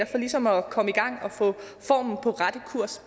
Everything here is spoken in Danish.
for ligesom at komme i gang og få formen på rette kurs